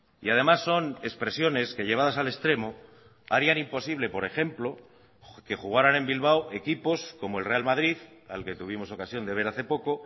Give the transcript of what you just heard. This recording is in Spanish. y además son expresiones que llevadas al extremo harían imposible por ejemplo que jugarán en bilbao equipos como el real madrid al que tuvimos ocasión de ver hace poco